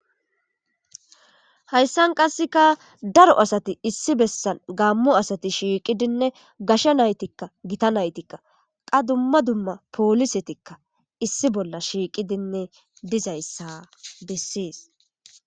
Hayssan qasseka daro asati issi bessan gammo asati shiiqidinne gashsha naytikka gita naytikka qa dumma dumma poolisetikka issi bolla shiiqidinne dizayssa bessees.